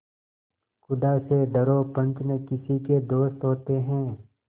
खुदा से डरो पंच न किसी के दोस्त होते हैं